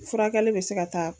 Furakɛli bɛ se ka taa